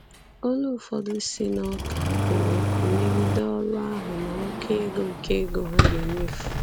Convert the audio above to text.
Olu ụfọdụ si n'ụka kwuru okwu megide ọrụ ahụ na oké ego oké ego ha ga-emefu.